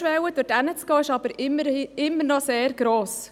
Die Hemmschwelle, dorthin zu gehen, ist jedoch immer noch sehr gross.